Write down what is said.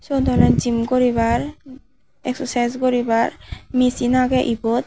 siyot oley gym guribar exsocise guribar machine aagey ebot.